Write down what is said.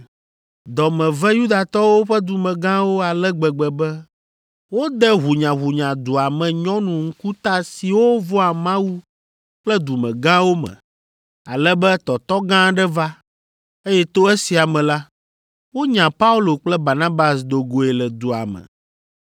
Dɔ me ve Yudatɔwo ƒe dumegãwo ale gbegbe be wode ʋunyaʋunya dua me nyɔnu ŋkuta siwo vɔ̃a Mawu kple dumegãwo me, ale be tɔtɔ gã aɖe va, eye to esia me la, wonya Paulo kple Barnabas do goe le dua me.